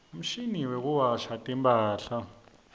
umshini wekuwasha timphahla